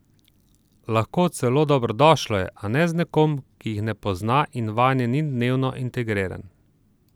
Lahko, celo dobrodošlo je, a ne z nekom, ki jih ne pozna in vanje ni dnevno integriran.